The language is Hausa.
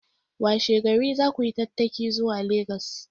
Washe gari za ku yi tattaki zuwa Legas!